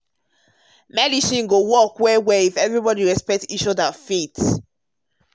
true talk when everybody talk when everybody respect um each other faith and medicine go work well together.